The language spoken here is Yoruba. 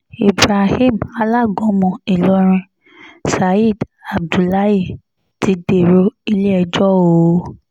ibrahim alágúnmu ìlọrin saheed abdullahi ti dèrò ilé-ẹjọ́ o